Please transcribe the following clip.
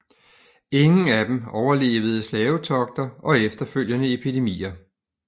Ingen af dem overlevede slavetogter og efterfølgende epidemier